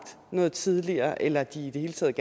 noget tidligere eller at de i det hele taget